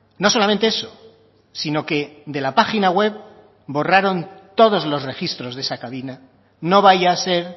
no solamente eso sino que de la página web borraron todos los registros de esa cabina no vaya a ser